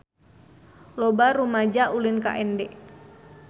Loba rumaja ulin ka Ende